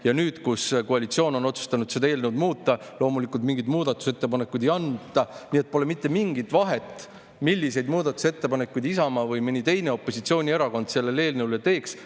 Ja nüüd, kui koalitsioon on otsustanud seda eelnõu muuta, loomulikult mingit muudatusettepanekute ei anta, nii et pole mitte mingit vahet, milliseid muudatusettepanekuid Isamaa või mõni teine opositsioonierakond selle eelnõu kohta teeks.